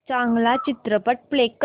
चांगला चित्रपट प्ले कर